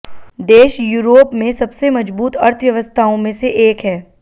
देश यूरोप में सबसे मजबूत अर्थव्यवस्थाओं में से एक है